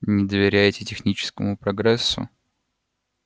не доверяете техническому прогрессу